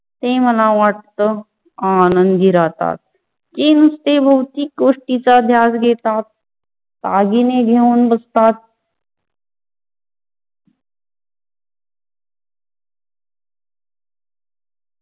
ते मला वाटत आनंदी राहतात किंतु भौतिक गोष्टीच ध्यास देतात, दागिनी घेऊन बसतात.